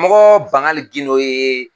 mɔgɔ Bangali Gindo ye